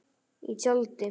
Í tjaldi.